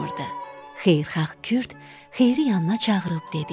Xeyirxah Kürd Xeyiri yanına çağırıb dedi: